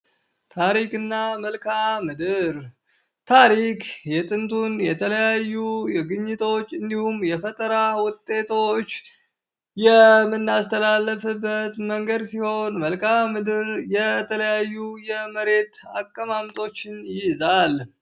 ታሪክ እና መልካምድር ታሪክ የጥንቱን የተለያዩ ግኝቶች እንዲሁም የፈጠራ ውጤቶች የምናስተላልፍበት መንገድ ሲሆን መልካምድር የተለያዩ የመሬት አቀማምጦችን ይይዛል።